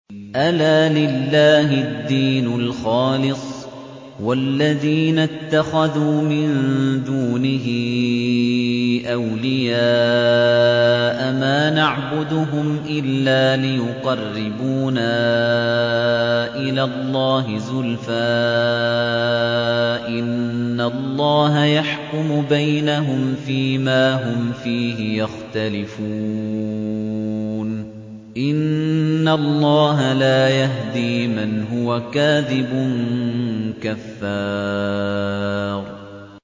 أَلَا لِلَّهِ الدِّينُ الْخَالِصُ ۚ وَالَّذِينَ اتَّخَذُوا مِن دُونِهِ أَوْلِيَاءَ مَا نَعْبُدُهُمْ إِلَّا لِيُقَرِّبُونَا إِلَى اللَّهِ زُلْفَىٰ إِنَّ اللَّهَ يَحْكُمُ بَيْنَهُمْ فِي مَا هُمْ فِيهِ يَخْتَلِفُونَ ۗ إِنَّ اللَّهَ لَا يَهْدِي مَنْ هُوَ كَاذِبٌ كَفَّارٌ